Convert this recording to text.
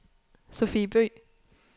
Sophie Bøgh